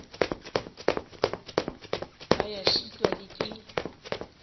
ba ya šitwa le ke